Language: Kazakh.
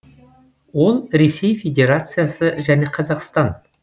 ол ресей федерациясы және қазақстан